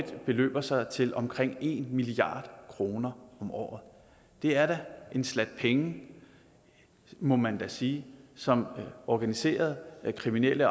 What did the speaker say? beløber sig til omkring en milliard kroner om året det er da en slat penge må man sige som organiserede kriminelle